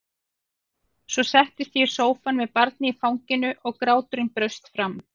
Svo settist ég í sófann með barnið í fanginu og gráturinn braust fram.